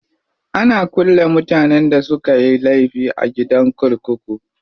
Ana kulle mutanen da sukayi laifi a gidan kurkuku.